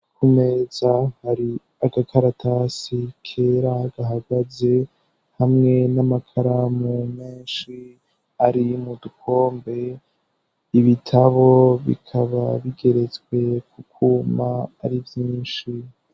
Kumeza hari agakaratasi kera gahagaze ,hamwe n'amakaramu menshi ari mu dukombe ,ibitabo bikaba bigeretswe kukuma ari vyinshi.